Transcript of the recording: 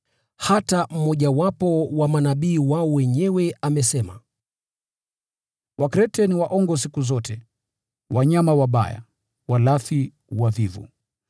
Hata mmojawapo wa manabii wao mwenyewe amesema, “Wakrete ni waongo siku zote, wanyama wabaya, walafi, wavivu.”